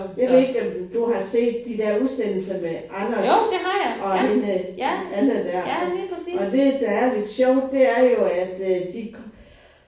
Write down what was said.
Jeg ved ikke om du har set de der udsendelser med Anders og hende der Anna der og og det der er lidt sjovt det er jo at de